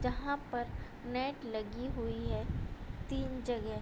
जहाँ पर नेट लगी हुई है तीन जगह |